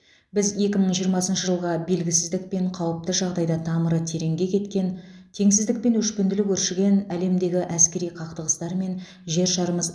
біз екі мың жиырмасыншы жылға белгісіздік пен қауіпті жағдайда тамыры тереңге кеткен теңсіздік пен өшпенділік өршіген әлемдегі әскери қақтығыстар мен жер шарымыз